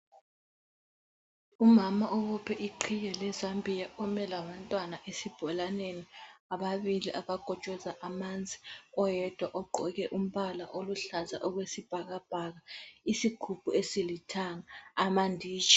Umama obophe iqhiye lezambiya ome labantwana esibholaneni: ababili abakotshoza amanzi oyedwa ogqoke umbala oyisibhakabhaka, isigubhu esilithanga amanditshi.